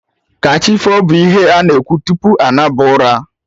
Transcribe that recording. Kachifo' bụ ihe ana ekwu tupu anaba ụra